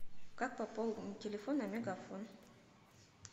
как пополнить телефон на мегафон